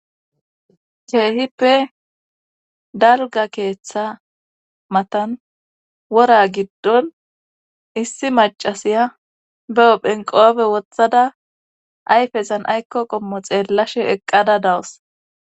Cheehippe dalga keeththa matan wora giddon issi macasiya be7o phenqoobe wothada ayfezan aykko qommo xeellashe eqqada dawus.